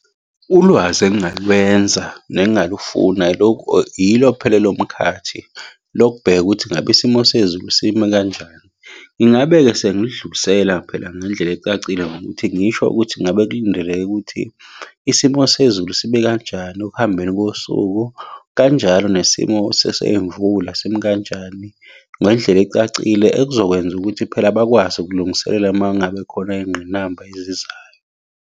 Ulwazi engingalwenza nengingalufuna yilo phela elomkhathi, lokubheka ukuthi ngabe isimo sezulu simi kanjani. Ngingabe-ke sengiludlulisela phela ngendlela ecacile ngokuthi ngisho ukuthi ngabe kulindeleke ukuthi isimo sezulu sibe kanjani ekuhambeni kosuku. Kanjalo nesimo semvula simi kanjani ngendlela ecacile ekuzokwenza ukuthi phela bakwazi ukulungiselela uma ngabe khona iy'ngqinamba ezizayo.